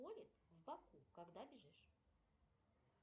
колет в боку когда бежишь